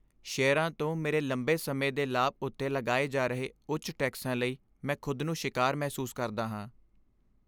ਸ਼ੇਅਰਾਂ ਤੋਂ ਮੇਰੇ ਲੰਬੇ ਸਮੇਂ ਦੇ ਲਾਭ ਉੱਤੇ ਲਗਾਏ ਜਾ ਰਹੇ ਉੱਚ ਟੈਕਸਾਂ ਲਈ ਮੈਂ ਖੁਦ ਨੂੰ ਸ਼ਿਕਾਰ ਮਹਿਸੂਸ ਕਰਦਾ ਹਾਂ।